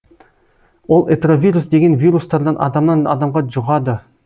ол этровирус деген вирустардан адамнан адамға жұғады